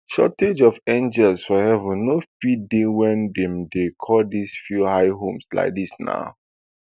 shortage of angels for heaven no fit dey wey dem call di few hia home like dis na